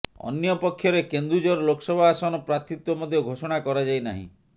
ଅନ୍ୟପକ୍ଷରେ କେନ୍ଦୁଝର ଲୋକସଭା ଆସନ ପ୍ରାର୍ଥୀତ୍ୱ ମଧ୍ୟ ଘୋଷଣା କରାଯାଇନାହିଁ